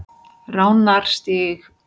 Ránarstíg